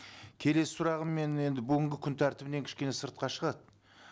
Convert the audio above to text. келесі сұрағым менің енді бүгінгі күн тәртібінен кішкене сыртқа шығады